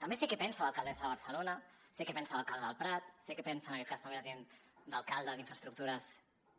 també sé què pensa l’alcaldessa de barcelona sé què pensa l’alcalde del prat sé que pensa en aquest cas també la tinent d’alcalde d’infraestructures